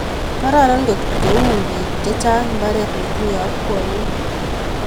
Kararan ngotkou bik chechang mbaret netinyei yakwaiyet